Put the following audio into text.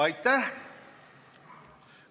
Aitäh!